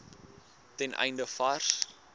ten einde vars